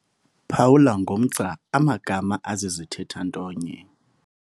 Phawula ngomgca amagama azizithetha-ntonye.